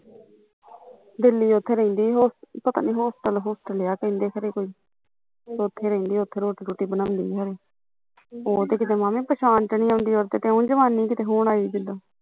ਦਿੱਲੀ ਉੱਥੇ ਰਹਿੰਦੀ ਉਹ ਪਤਾ ਨੀ ਹੋਸਟਲ ਹੁਸਟਲ ਆ ਕਹਿੰਦੇ ਕੋਈ ਉੱਥੇ ਰਹਿੰਦੀ ਓਥੇ ਰੋਟੀ ਰੁਟੀ ਬਣਾਉਂਦੀ ਖਰੇ ਉਹ ਤੇ ਮਾਮੇ ਕਿਤੇ ਪਛਾਣ ਚ ਨੀ ਆਉਂਦੀ ਉਹਦੇ ਤੇ ਉ ਕਿਤੇ ਜਵਾਨੀ ਹੁਣ ਆਈ